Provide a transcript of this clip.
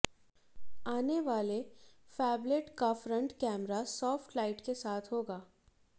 आने वाले फैबलेट का फ्रंट कैमरा सॉफ्ट लाइट के साथ होगा